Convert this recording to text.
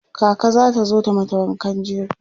kaka zata zo ta mata wankan jego